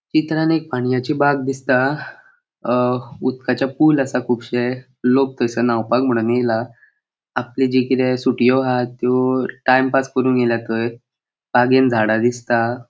चित्रान एक पाणियाची बाग दिसता अ उदकाचे पूल आसा कुबशे लोक तैसर न्हावपाक म्हणून येला आपले जे कितें सुटियों हा त्यो टाइमपास करून्क येल्या थंय बागेन झाडा दिसता.